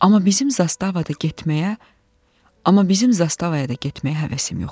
Amma bizim zastavaya da getməyə həvəsim yox idi.